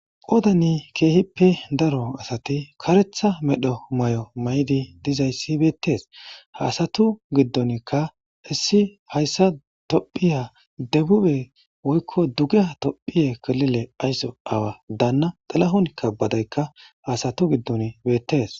qoodani keehippe daro asati karetha medho may7o may7di dizayssi beettees haasatu giddonkka issi hayssa tophiya debube woykko dugea tophiye kalile aysso awa daanna xalahonkka badaykka haasatu giddon beettes